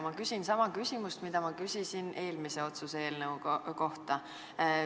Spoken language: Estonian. Ma küsin sama küsimuse, mida ma küsisin eelmise otsuse eelnõu kohta.